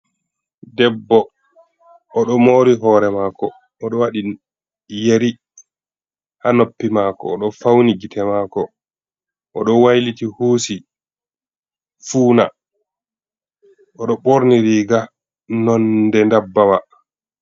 Debbo o ɗo mori hore mako, o ɗo waɗi yeri ha noppi mako, o ɗo fauni gite mako, o ɗo wayliti husi funa, o ɗo ɓorni riga nonde dabbawa.